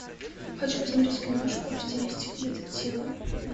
хочу посмотреть киношку в стилистике детектива